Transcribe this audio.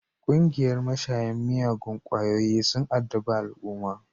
Ƙungiyan mashayan miyagun kwayoyin sun addabi al'umma